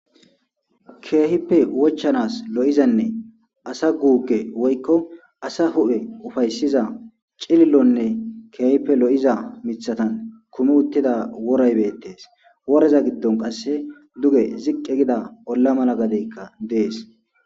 Keehippe wochanas lo7izanne asa guukke woykko asa hu7e ufayssiza cilllonne keehippe lo7iza mithatan kume uttida woreybettees woreza giddon qasse duge ziqqe gida olla mala gadeykka dees.